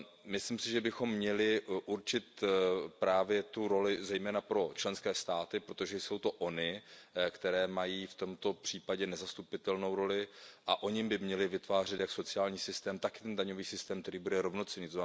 Myslím si, že bychom měli určit právě tu roli zejména pro členské státy, protože jsou to ony, které mají v tomto případě nezastupitelnou roli, a ony by měly vytvářet sociální systém, takový daňový systém, který bude rovnocenný.